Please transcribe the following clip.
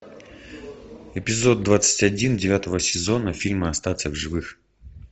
эпизод двадцать один девятого сезона фильма остаться в живых